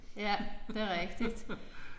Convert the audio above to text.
Ja det er rigtigt